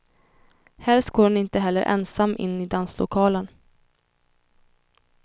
Helst går hon inte heller ensam in i danslokalen.